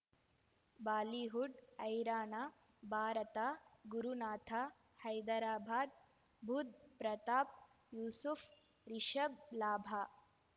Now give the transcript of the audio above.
Bollywood ಹೈರಾಣ ಭಾರತ ಗುರುನಾಥ ಹೈದರಾಬಾದ್ ಬುಧ್ ಪ್ರತಾಪ್ ಯೂಸುಫ್ ರಿಷಬ್ ಲಾಭ